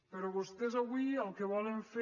però vostès avui el que volen fer